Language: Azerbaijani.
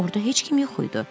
Orda heç kim yox idi.